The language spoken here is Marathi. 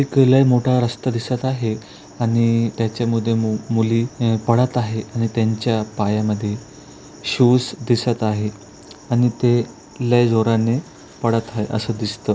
एक लय मोठा रस्ता दिसत आहे आणि त्याच्या मध्ये मुली अह पळत आहे आणि त्यांच्या पायामध्ये शूज दिसत आहे आणि ते लय जोराने पळत आहे असं दिसतो.